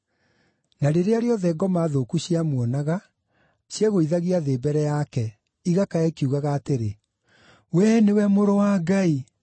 Na rĩrĩa rĩothe ngoma thũku ciamuonaga, ciegũithagia thĩ mbere yake, igakaya ikiugaga atĩrĩ, “Wee nĩwe Mũrũ wa Ngai.”